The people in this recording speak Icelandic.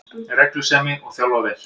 Reglusemi, og þjálfa vel